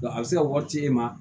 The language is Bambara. a bɛ se ka wari ci e ma